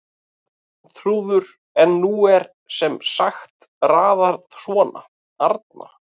Arnþrúður en nú er sem sagt raðað svona: Arna